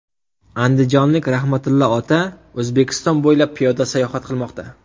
Andijonlik Rahmatillo ota O‘zbekiston bo‘ylab piyoda sayohat qilmoqda.